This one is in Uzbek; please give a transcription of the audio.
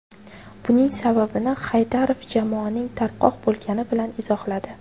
Buning sababini Haydarov jamoaning tarqoq bo‘lgani bilan izohladi.